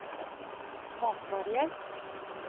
matvarehjelp